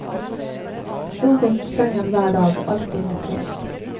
Frokost på sengen hver dag, alltid med te.